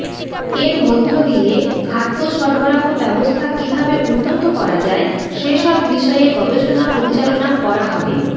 এর মধ্যদিয়ে খাদ্য সরবরাহ ব্যবস্থা কিভাবে উন্নত করা যায় সেসব বিষয়ে গবেষণা পরিচালনা করা হবে